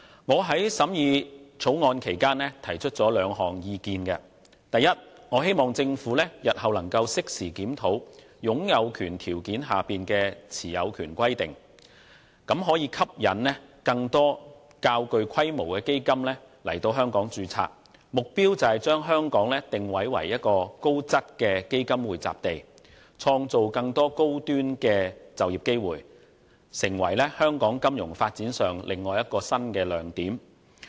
我在審議《條例草案》期間提出了兩項意見：第一，我希望政府日後能適時檢討擁有權條件下的持有權規定，以期吸引更多較具規模的基金來香港註冊，目標是將香港定位為高質的基金匯集地，創造更多高端的就業機會，從而成為香港金融發展上另一個新亮點。